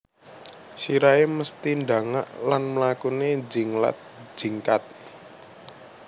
Sirahé mesthi ndangak lan mlakuné njinglat jingkat